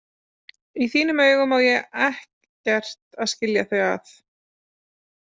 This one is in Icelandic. Í þínum augum á ekkert að skilja þau að.